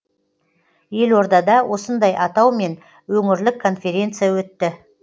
елордада осындай атаумен өңірлік конференция өтті